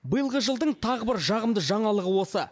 биылғы жылдың тағы бір жағымды жаңалығы осы